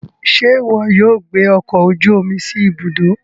Ṣe iwọ yóò gbé ọkọ ojú omi sí Ibùdó